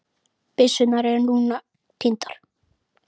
Byssurnar eru nú týndar